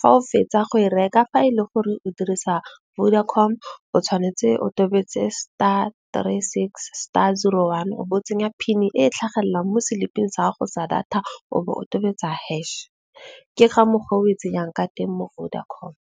Fa o fetsa go e reka fa e le gore o dirisa Vodacom o tshwanetse o tobetse star, three, six, star, zero, one o bo tsenya PIN-I e tlhagelelang mo seliping sa go sa data. O bo o tobetsa hash. Ke ka mogo o e tsenyang ka teng mo Vodacom.